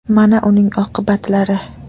Mana uning oqibatlari .